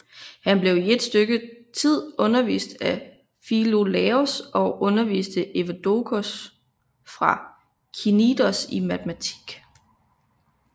Han blev i et stykke tid undervist af Filolaos og underviste Evdoksos fra Knidos i matematik